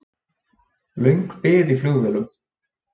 Löng bið í flugvélum